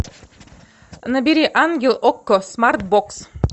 набери ангел окко смарт бокс